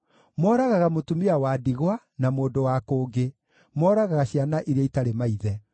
Mooragaga mũtumia wa ndigwa, na mũndũ wa kũngĩ; mooragaga ciana iria itarĩ maithe.